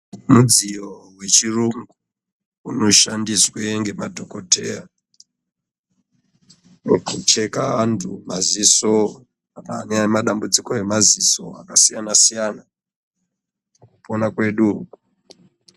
Mudziyo wechirungu unoshandiswe ngemadhokoteya , wekucheka antu maziso ane madambudziko emaziso akasiyana siyana kuona kwedu uku .